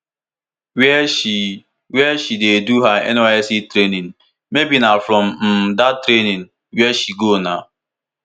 wia she wia she dey do her nysc training maybe na from um dat training wey she go na